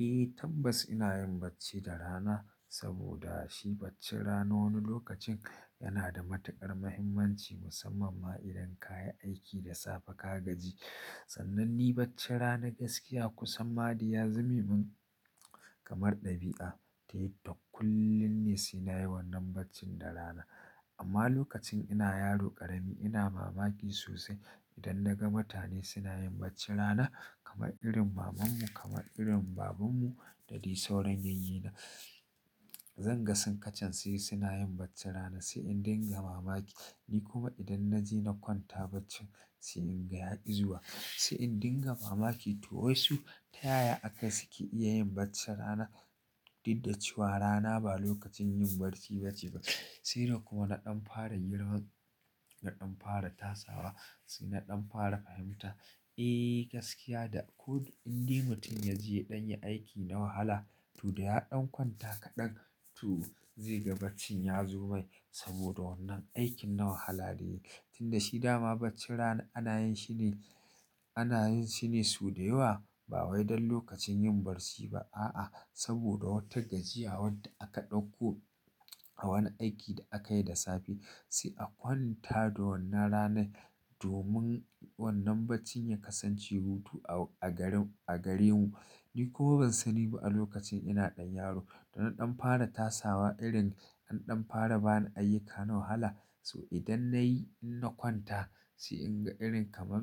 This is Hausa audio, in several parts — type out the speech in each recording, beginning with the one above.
Eh tambas ina yin bacci da rana saboda shi bacci rana wani lokacin yana da matuƙar mahimmanci musamman ma idan ka yi aiki da safe ka gaji. Sannan ni bacci rana gaskiya kusan ma dai ya zame min kamar ɗabi'a. To yadda kullum ne si nayi wannan baccin da rana. Amma lokacin ina yaro ƙarami ina mamaki sosai idan naga mutane suna yin bacci rana kamar irin mamanmu kamar irin babanmu da dai sauran yayyena. Zan ga sun kacen su suna yin bacci rana sai in dinga mamaki. Ni kuma idan naje na kwanta bacci sai in ga ya izuwa. Sai in dinga mamaki to wai su ta yaya aka suke iya yin bacci rana? Didda ci wara naba lokacin yin barci ba ce ba. Sai dai kuma na ɗan fara yin girma da ɗan fara tasawa sai na ɗan fara fahimta. Eh gaskiya da ko inda mutum ya je ɗan ya aiki na wahala to dai ya ɗan kwanta kaɗan to zai ga bacci ya zo mai saboda wannan aikin na wahala da yayi. Tun da shi dama bacci rana ana yin shi ne, ana yin shi ne su da yawa ba wai don lokacin yin barci ba. A'a saboda wata gajiya wadda aka ɗauko a wani aiki da aka yi da safe. Sai a kwanta da wannan rana domin wannan bacci ya kasance hutu a garin, a gare mu. Ni kuma ban sani ba a lokacin ina ɗan yaro to na ɗan fara tasawa irin an ɗan fara bani ayyuka na wahala so idan na yi in na kwanta sai in ga irin kamar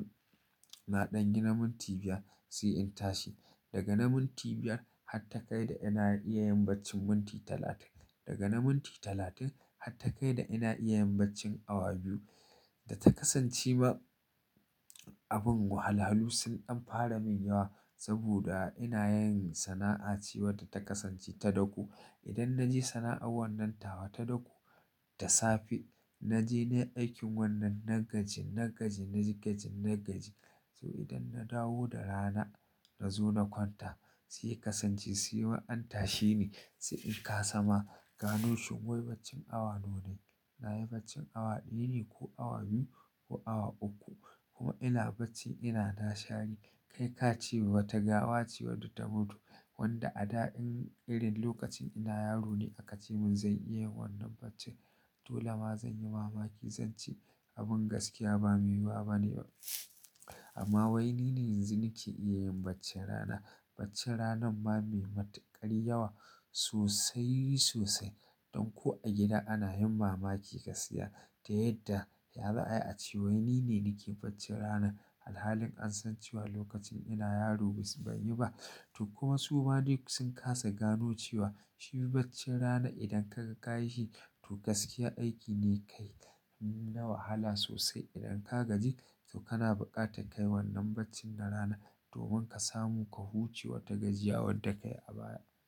na ɗan gina minti biyar sai in tashi. Daga na minti biyar har takai da ina iya yin bacci minti talatin. Daga na minti talatin har takai da ina iya yin bacci awa biyu. Da ta kasanci ma abin wahala-halu sun ɗan fara min yawa saboda ina yin sana'a ce wadda ta kasance ta dako. Idan na je sana'ar wannan tawa ta dako da safe naje nayi aikin wannan na gaji, na gaji na gaji, na gaji. To idan na dawo da rana na zo na kwanta sai kasance sai ma an tashi ni sai in ƙasa ma gano shin wai bacci awa nawa na yi. Na yi bacci awa ɗaya ne ko awa biyu ko awa uku kuma ina bacci ina na shari. Kai ka ci wata gawa ce wadda ta mutu wadda a da irin lokacin ina yaro ne aka ci mun zan iya yin wannan bacci. To lama zan yi mamaki zan ce abin gaskiya ba mai yawa ba ne. Amma wai ni ne yanzu nake iya yin bacci rana. Bacci ranan ma mai matuƙar yawa sosai sosai. Don ko a gida ana yin mamaki ka saya ta yadda ya za'a yi a cewa ni ne nake bacci rana. Alhalin an san cewa lokacin ina yaro basu ba yi ba. To kuma su ma duk sun ƙasa gano cewa shi bacci rana idan ka ka ka yi shi to gaskiya aiki ne kai na wahala sosai idan ka gaji to kana buƙatar kai wannan bacci na rana domin ka samu ka huce wata gajiya wadda ka yi a baya.